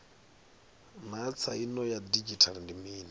naa tsaino ya didzhithala ndi mini